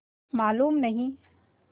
मालूम नहीं